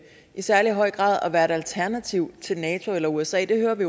i særlig høj grad at være et alternativ til nato eller usa og det hører vi